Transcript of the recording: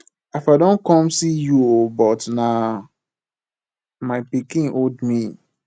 i for don come see you oo but na my pikin hold me